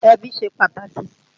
Ẹbí ṣe pàtàkì